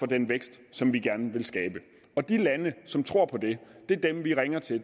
den vækst som vi gerne vil skabe og de lande som tror på det er dem vi ringer til